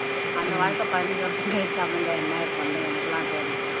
அந்த வாழ்க்கை பதினஞ்சு வருஷம் கழிச்சு அமைஞ்சா என்ன இப்பதானு எனக்கெல்லாம் தோணுச்சு